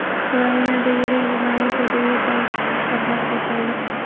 Ukrainada yirik jinoiy to‘da yetakchisi pichoqlab ketildi.